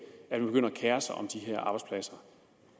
man begynder at kere sig om de her arbejdspladser